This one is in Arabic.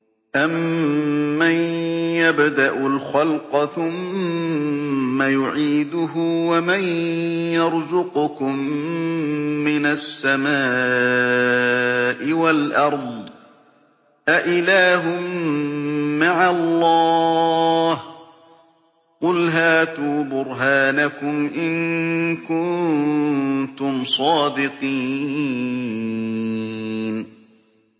أَمَّن يَبْدَأُ الْخَلْقَ ثُمَّ يُعِيدُهُ وَمَن يَرْزُقُكُم مِّنَ السَّمَاءِ وَالْأَرْضِ ۗ أَإِلَٰهٌ مَّعَ اللَّهِ ۚ قُلْ هَاتُوا بُرْهَانَكُمْ إِن كُنتُمْ صَادِقِينَ